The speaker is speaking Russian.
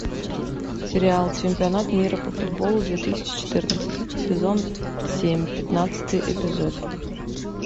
сериал чемпионат мира по футболу две тысячи четырнадцать сезон семь пятнадцатый эпизод